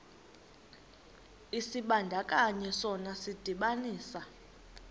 isibandakanyi sona sidibanisa